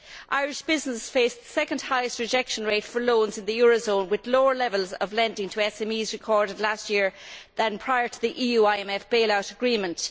Irish business faces the second highest rejection rate for loans in the euro zone, with lower levels of lending to SMEs recorded last year than prior to the EU IMF bailout agreement.